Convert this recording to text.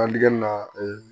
Adigɛni na